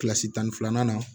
Kilasi tan ni filanan na